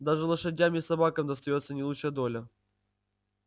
даже лошадям и собакам достаётся не лучшая доля